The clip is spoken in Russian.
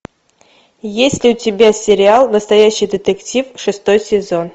есть ли у тебя сериал настоящий детектив шестой сезон